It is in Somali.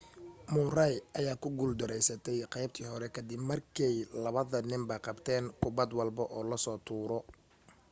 murray ayaa ku guul dareystay qaybta hore ka dib markay labada ninba qabteen kubad walbo oo la soo tuuro